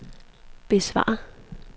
besvar